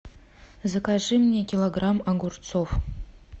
закажи мне килограмм огурцов